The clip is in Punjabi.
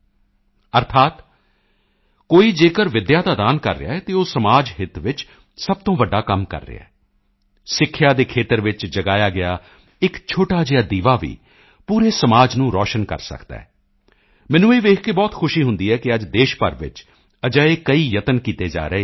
ਅਰਥਾਤ ਕੋਈ ਜੇਕਰ ਵਿੱਦਿਆ ਦਾ ਦਾਨ ਕਰ ਰਿਹਾ ਹੈ ਤਾਂ ਉਹ ਸਮਾਜ ਹਿੱਤ ਵਿੱਚ ਸਭ ਤੋਂ ਵੱਡਾ ਕੰਮ ਕਰ ਰਿਹਾ ਹੈ ਸਿੱਖਿਆ ਦੇ ਖੇਤਰ ਵਿੱਚ ਜਗਾਇਆ ਗਿਆ ਇੱਕ ਛੋਟਾ ਜਿਹਾ ਦੀਵਾ ਵੀ ਪੂਰੇ ਸਮਾਜ ਨੂੰ ਰੋਸ਼ਨ ਕਰ ਸਕਦਾ ਹੈ ਮੈਨੂੰ ਇਹ ਦੇਖ ਕੇ ਬਹੁਤ ਖੁਸ਼ੀ ਹੁੰਦੀ ਹੈ ਕਿ ਅੱਜ ਦੇਸ਼ ਭਰ ਵਿੱਚ ਅਜਿਹੇ ਕਈ ਯਤਨ ਕੀਤੇ ਜਾ ਰਹੇ ਹਨ ਯੂ